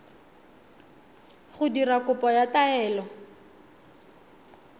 go dira kopo ya taelo